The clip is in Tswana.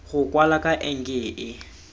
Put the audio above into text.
go kwala ka enke e